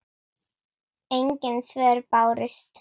Engin svör bárust.